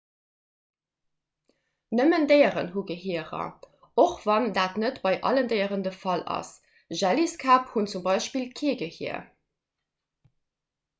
nëmmen déieren hu gehierer och wann dat net bei allen déieren de fall ass; jelliskäpp hunn zum beispill kee gehier